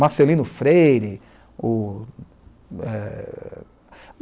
Marcelino Freire. O, eh...